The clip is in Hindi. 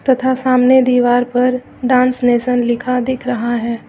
तथा सामने दीवार पर डांस नेशन लिखा दिख रहा है।